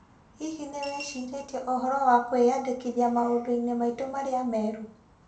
Hihi nĩ wĩcirĩtie ũhoro wa kwĩyandĩkithia maũndũ-inĩ maitũ marĩa merũ?